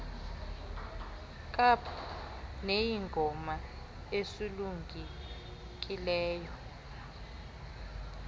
kaap neyingoma esulungekileyo